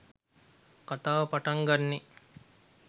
කතාව පටන් ගන්නේ.